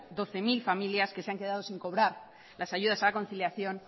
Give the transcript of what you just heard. doce mil familias que se han quedado sin cobrar las ayudas a la conciliación